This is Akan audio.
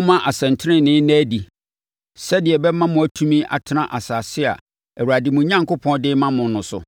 Momma asɛntenenee nna adi sɛdeɛ ɛbɛma moatumi atena asase a Awurade mo Onyankopɔn de rema mo no so.